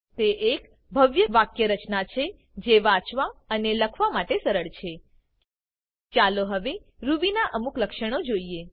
તે એક ભવ્ય વાક્યરચના છે જે વાંચવા અને લખવા માટે સરળ છે ચાલો હવે Rubyના અમુક લક્ષણો જોઈએ